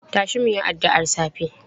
Tashi mu yi addu'ar safe!